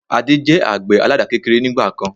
Adé jẹ àgbẹ̀ àládà kékeré ni ìgbàkan